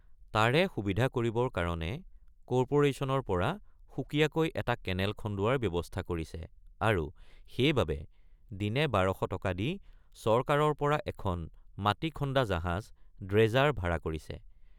তাৰে সুবিধা কৰিবৰ কাৰণে কৰ্পোৰেশ্যনৰ পৰা সুকীয়াকৈ এট৷ কেনেল খনোৱাৰ বন্দৱস্ত কৰিছে আৰু সেইবাবে দিনে ১২০০ টকা দি চৰকাৰৰপৰা এখন মাটি খন্দা জাহাজ dredger ভাৰা কৰিছে।